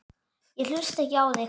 Ég hlusta ekki á þig.